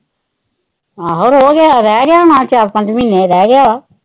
ਆਹੋ ਰੋਜ਼ ਰਹਿ ਗਿਆ ਹੋਣਾ ਚਾਰ ਪੰਜ ਮਹੀਨੇ ਰਹਿ ਗਿਆ।